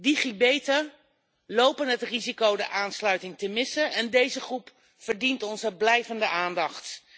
Digibeten lopen het risico de aansluiting te missen en deze groep verdient onze blijvende aandacht.